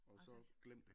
Ah tak